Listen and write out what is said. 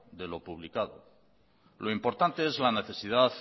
lo importante es la necesidad